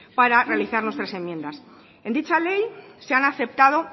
para realizar nuestras enmiendas en dicha ley se han aceptado